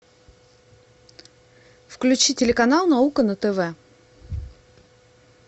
включи телеканал наука на тв